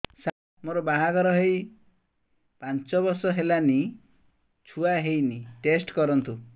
ସାର ମୋର ବାହାଘର ହେଇ ପାଞ୍ଚ ବର୍ଷ ହେଲାନି ଛୁଆ ହେଇନି ଟେଷ୍ଟ କରନ୍ତୁ